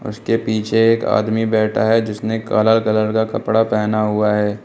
उसके पीछे एक आदमी बैठा है जिसने काला कलर का कपड़ा पहना हुआ है।